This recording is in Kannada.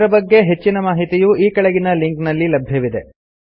ಇದರ ಬಗ್ಗೆ ಹೆಚ್ಚಿನ ಮಾಹಿತಿಯು ಈ ಕೆಳಗಿನ ಲಿಂಕ್ ನಲ್ಲಿ ಲಭ್ಯವಿದೆ